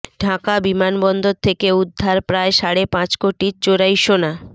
ঢাকা বিমানবন্দর থেকে উদ্ধার প্রায় সাড়ে পাঁচ কোটির চোরাই সোনা